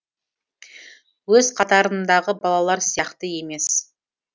өз қатарындағы балалар сияқты емес